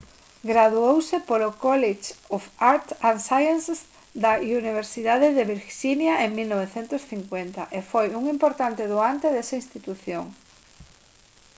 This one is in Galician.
graduouse polo college of arts & sciences da universidade de virxinia en 1950 e foi un importante doante desa institución